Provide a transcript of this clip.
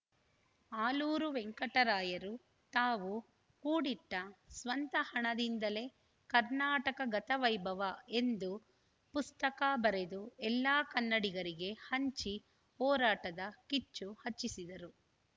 ಆಲೂರು ವೆಂಕಟರಾಯರು ತಾವು ಕೂಡಿಟ್ಟಸ್ವಂತ ಹಣದಿಂದಲೇ ಕರ್ನಾಟಕ ಗತ ವೈಭವ ಎಂದು ಪುಸ್ತಕ ಬರೆದು ಎಲ್ಲಾ ಕನ್ನಡಿಗರಿಗೆ ಹಂಚಿ ಹೋರಾಟದ ಕಿಚ್ಚು ಹಚ್ಚಿಸಿದರು